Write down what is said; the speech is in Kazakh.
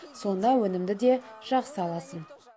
сонда өнімді де жақсы аласың